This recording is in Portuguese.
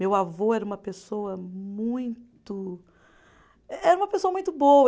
Meu avô era uma pessoa muito. Eh Era uma pessoa muito boa.